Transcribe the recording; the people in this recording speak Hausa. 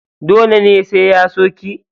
Dole ne sai ya so ki?